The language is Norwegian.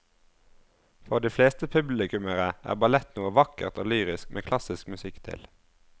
For de fleste publikummere er ballett noe vakkert og lyrisk med klassisk musikk til.